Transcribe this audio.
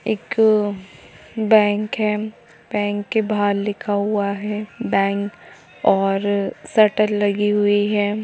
एक बैंक है बैंक के बाहर लिखा हुआ है बैंक और सटर लगी हुई है।